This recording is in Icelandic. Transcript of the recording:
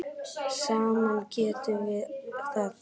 Saman getum við það.